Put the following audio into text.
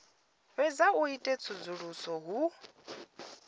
fhedza u ita tsedzuluso hu